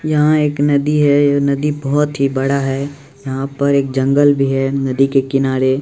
यहां एक नदी है यह नदी बहुत ही बड़ा है यहां पर एक जंगल भी है नदी के किनारे--